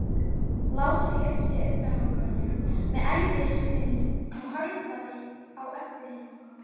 Lási lyfti augnalokunum með erfiðismunum og horfði á Öbbu hina.